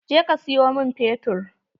Je ka siyo min fetur!